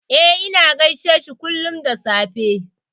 E, ina gaishe shi kullum da safe.